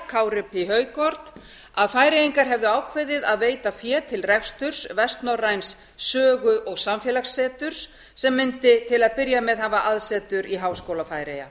kári p højgaard að færeyingar hefðu ákveðið að veita fé til reksturs vestnorræns sögu og samfélagsseturs sem mundi til að byrja með hafa aðsetur í háskóla færeyja